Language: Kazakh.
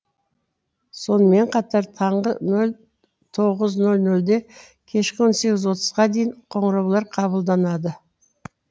сонымен қатар таңғы тоғыз нөл нөлде кешкі он сегіз отызға дейін қоңыраулар қабылданады